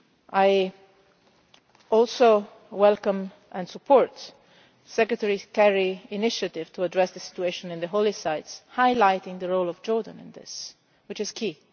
I also welcome and support Secretary of State Kerry's initiative to address the situation in the holy sites highlighting the role of Jordan in this, which is key.